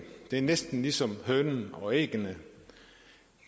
det er næsten ligesom hønen og ægget